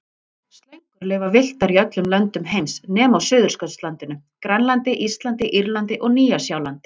Slöngur lifa villtar í öllum löndum heims nema á Suðurskautslandinu, Grænlandi, Íslandi, Írlandi og Nýja-Sjálandi.